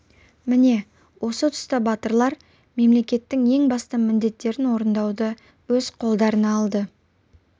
міне осы тұста батырлар мемлекеттің ең басты міндеттерін орындауды өз қолдарына алды